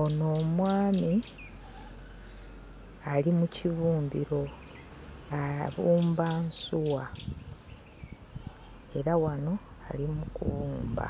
Ono omwami ali mu kibumbiro abumba nsuwa era wano ali mu kubumba.